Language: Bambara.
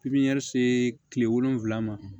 Pipiniyɛri see tile wolonfila ma